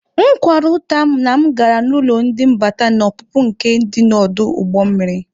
M kwara ụta na m gara n'ụlọ ndị mbata na ọpụpụ nke dị n'ọdụ ụgbọ mmiri.